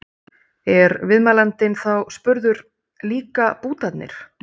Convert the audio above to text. Er viðmælandinn þá spurður: Líka bútarnir?